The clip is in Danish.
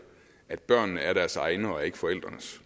at børnene er deres egne og ikke forældrenes